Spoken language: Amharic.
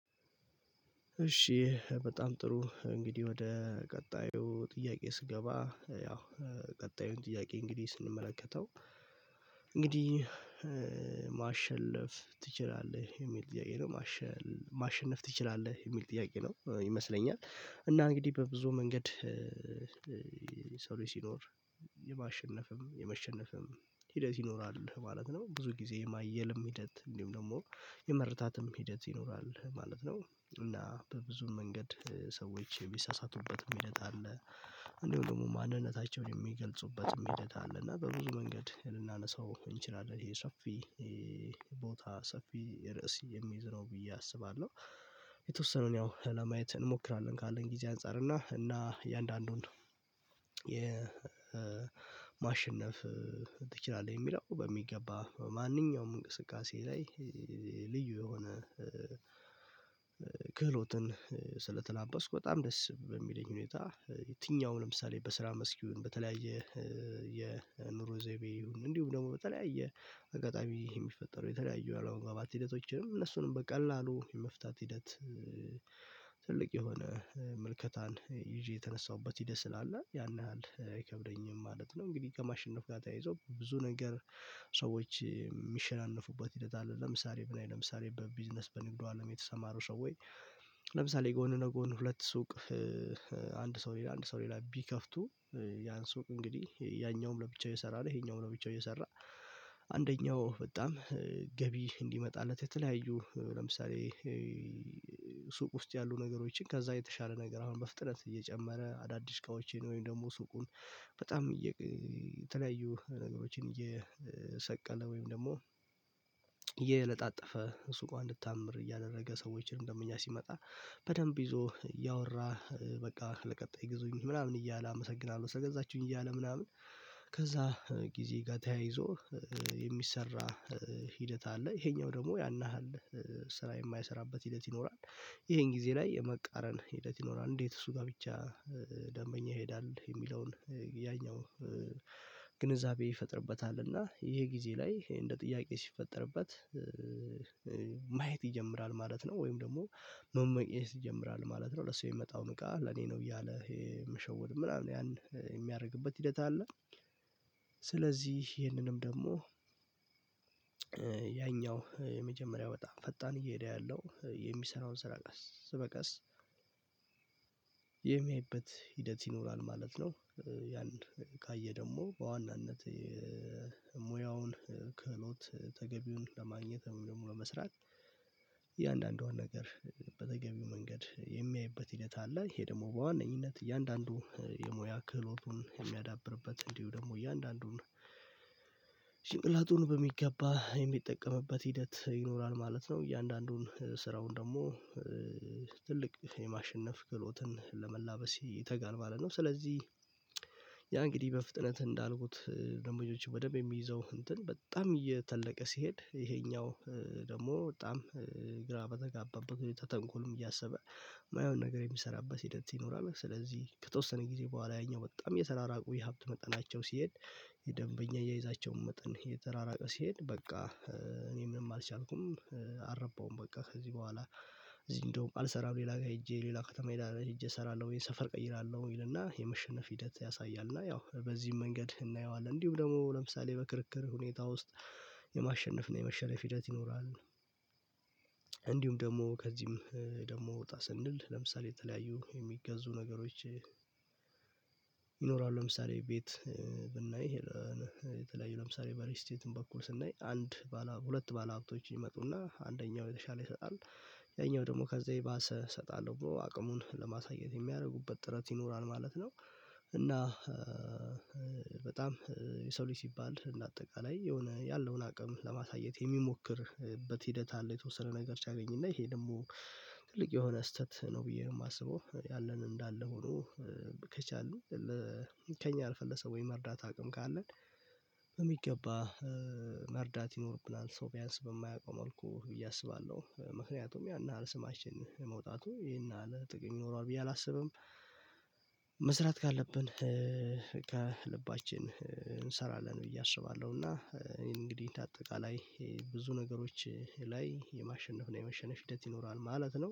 እሺ በጣም ጥሩ፤ እንግዲህ ወደ ቀጣዩ ጥያቄዬ ስገባ ያው ቀጣዩን ጥያቄ እንግዲህ ስንመለከተው እንግዲህ "ማሸለፍ ትችላለህ?" የሚል ጥያቄ ነው። "ማሸነፍ ማሸነፍ ትችላለህ?" የሚል ጥያቄ ነው ይመስለኛል፤ እና እንግዲህ በብዙ መንገድ የሰው ልጅ ሲኖር የማሸነፍም የመሸነፍም ሂደት ይኖራል ማለት ነው። ብዙ ጊዜ የማየልም ሂደት እንዲሁም ደግሞ የመረታትም ሂደት ይኖራል ማለት ነው፤ እና በብዙ መንገድ ሰዎች ሚሳሳቱበትም ሂደት አለ። እንዲሁም ደግሞ ማንነታቸውን የሚገልጹበትም ሂደት አለ፤ እና በብዙ መንገድ ልናነሳው እንችላለን ይሄ ሰፊ ቦታ ሰፊ ርዕስ የሚይዝ ነው ብዬ አስባለሁ። የተወሰነውን ያው ለማየት እንሞክራለን ካለኝ ጊዜ አንፃር እና እና የእያንዳንዱን የማሸነፍ ትችላለህ የሚለው በሚገባ፤ በማንኛውም እንቅስቃሴዬ ላይ ልዩ የሆነ ክህሎትን ስለተላበስኩ በጣም ደስ በሚለኝ ሁኔታ የትኛውንም ለምሳሌ በስራ መስክ ይሁን በተለያየ የኑሮ ዘይቤ ይሁን እንዲሁም ደግሞ በተለያየ አጋጣሚ የሚፈጠሩ የተለያየ አለመግባባት ሂደቶችንም እነሱንም በቀላሉ የመፍታት ሂደት ትልቅ የሆነ ምልከታን ይዤ የተነሳሁበት ሂደት ስላለ ያን ያህል አይከብደኝም ማለት ነው። እንግዲህ ከማሸነፍ ጋር ተያይዞ ብዙ ነገር ሰዎች የሚሸናነፉበት ሂደት አለ። ለምሳሌ ብናይ ለምሳሌ በቢዝነስ በንግዱ አለም የተሰማሩ ሰዎች ለምሳሌ ጎን ነጎን ሁለት ሱቅ አንድ ሰው ሌላ አንድ ሰው ሌላ ቢከፍቱ ያን ሱቅ እንግዲህ ያኛውም ለብቻው እየሰራ ነው ይሄኛውም ለብቻው እየሰራ አንደኛው በጣም ገቢ እንዲመጣለት የተለያዩ ለምሳሌ ሱቅ ውስጥ ያሉ ነገሮችን ከዛ የተሻለ ነገር አሁን በፍጥነት እየጨመረ አዳዲስ እቃዎችን ወይም ደግሞ ሱቁን በጣም እየቅ የተለያዩ ነገሮችን እየሰቀለ ወይም ደግሞ እየለጣጠፈ ሱቋ እንድታምር እያደረገ ሰዎችንም ደንበኛ ሲመጣ በደንብ ይዞ እያወራ በቃ ለቀጣይ ግዙኝ ምናምን እያለ አመሰግናለሁ ስለገዛችሁኝ እያለ ምናምን ከዛ ጊዜ ጋር ተያይዞ የሚሰራ ሂደት አለ። ይሄኛው ደግሞ ያን ያህል ስራ የማይሰራበት ሂደት ይኖራል። ይሄን ጊዜ ላይ የመቃረን ሂደት ይኖራል እንዴት እሱ ጋር ብቻ ደንበኛ ይሄዳል የሚለውን ያኛው ግንዛቤ ይፈጥርበታል፤ እና ይሄ ጊዜ ላይ እንደ ጥያቄ ሲፈጠርበት ማየት ይጀምራል ማለት ነው፤ ወይም ደግሞ መመቅኘት ይጀምራል ማለት ነው። ለሱ የሚመጣውን እቃ ለኔ ነው እያለ ይሄ መሸወድ ምናምን ያን የሚያደርግበት ሂደት አለ። ስለዚህ ይሄንንም ደግሞ ያኛው የመጀመሪያው በጣም ፈጣን እየሄደ ያለው የሚሰራውን ስራ ቀስ በቀስ የሚያይበት ሂደት ይኖራል ማለት ነው። ያን ካየ ደግሞ በዋናነት ሙያውን ከእውነት ተገቢውን ለማግኘት ወይም ደግሞ ለመስራት እያንዳንዷን ነገር በተገቢው መንገድ የሚያይበት ሂደት አለ። ይሄ ደግሞ በዋነኝነት እያንዳንዱ የሙያ ክህሎቱን የሚያዳብርበት እንዲሁ ደግሞ እያንዳንዱን ጭንቅላቱን በሚገባ የሚጠቀምበት ሂደት ይኖራል ማለት ነው። እያንዳንዱን ስራውን ደግሞ ትልቅ የማሸነፍ ክሎትን ለመላበስ ይተጋል ማለት ነው። ስለዚህ ያ እንግዲህ በፍጥነት እንዳልኩት ደምበኞቹ በደንብ የሚይዘው እንትን በጣም እየተለቀ ሲሄድ፤ ይሄኛው ደግሞ በጣም ግራ በተጋባበት ሁኔታ ተንኮልም እያሰበ የማይሆን ነገር የሚሰራበት ሂደት ይኖራል። ስለዚህ ከተወሰነ ጊዜ በኋላ ያኛው በጣም እየተራራቁ የሀብት መጠናቸው ሲሄድ የደንበኛ አያያዛቸውም መጠን እየተራራቀ ሲሄድ በቃ እኔ ምንም አልቻልኩም አረባሁም በቃ ከዚህ በኋላ እዚህ እንደውም አልሰራም ሌላ ጋር ሄጄ ሌላ ከተማ ሄዳህ ሄጄ እሰራለሁ ወይ ሰፈር ቀይራለሁ ይልና የመሸነፍ ሂደት ያሳያል እና ያው በዚህም መንገድ እናየዋለን። እንዲሁም ደግሞ ለምሳሌ በክርክር ሁኔታ ውስጥ የማሸነፍ እና የመሸነፍ ሂደት ይኖራል። እንዲሁም ደግሞ ከዚህም ደግሞ ወጣ ስንል ለምሳሌ የተለያዩ የሚገዙ ነገሮች ይኖራሉ። ለምሳሌ ቤት ብናይ ይሄ የተለያዩ ለምሳሌ በሪልስቴትም በኩል ስናይ አንድ ባለሀብ ሁለት ባለሀብቶች ይመጡና አንደኛው የተሻለ ይሰጣል ያኛው ደግሞ ከዚህ የባሰ እሰጣለሁ ብሎ አቅሙን ለማሳየት የሚያደርጉበት ጥረት ይኖራል ማለት ነው፤ እና በጣም የሰው ልጅ ሲባል እንደ አጠቃላይ የሆነ ያለውን አቅም ለማሳየት የሚሞክርበት ሂደት አለ የተወሰነ ነገር ሲያገኝና ይሄ ደግሞ ትልቅ የሆነ ስህተት ነው ብዬ ነው የማስበው። ያለን እንዳለ ሆኖ ከቻልን ለ ከእኛ አልፈን ለሰው ወይ መርዳት አቅም ካለን በሚገባ መርዳት ይኖርብናል። ሰው ቢያንስ በማያውቀው መልኩ ብዬ አስባለሁ። ምክንያቱም ያን ያህል ስማችን መውጣቱ ይሄን ያህል ጥቅም ይኖረዋል ብዬ አላስብም። መስራት ካለብን ከልባችን እንሰራለን ብዬ አስባለሁ፤ እና እኔ እንግዲህ እንደአጠቃላይ ይሄ ብዙ ነገሮች ላይ የማሸነፍ እና የመሸነፍ ሂደት ይኖራል ማለት ነው።